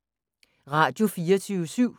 Radio24syv